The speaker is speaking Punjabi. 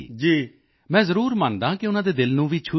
ਮੈਂ ਜ਼ਰੂਰ ਮੰਨਦਾ ਹਾਂ ਕਿ ਉਨ੍ਹਾਂ ਦੇ ਦਿਲ ਨੂੰ ਵੀ ਛੂਹ ਜਾਏਗੀ